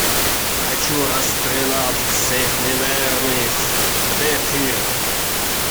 хочу расстрелять всех неверных где тир